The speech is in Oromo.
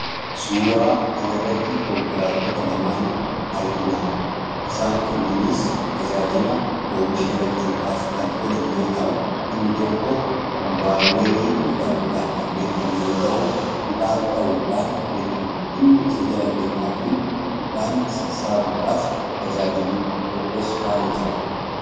Suura kana irratti konkolaattota lamaan arginaa. Isaan kunniinis tajaajila oomisha galchuudhaaf kan oolan yoo ta'u inni tokko kumbaayinerii jedhamuudhaan kan beekamu yoo ta'u midhaan dha'uudhaan beekama. Inni isa jala deemaatiin midhaan sassaabuudhaaf tajaajiluu tokkos faana jira.